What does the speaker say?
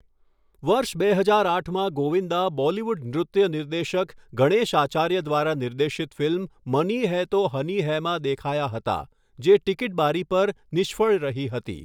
વર્ષ બે હજાર આઠમાં ગોવિંદા બોલીવુડ નૃત્યનિર્દેશક ગણેશ આચાર્ય દ્વારા નિર્દેશિત ફિલ્મ 'મની હૈ તો હની હૈ'માં દેખાયા હતા, જે ટીકીટ બારી પર નિષ્ફળ રહી હતી.